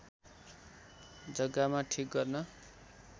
जग्गामा ठिक गर्न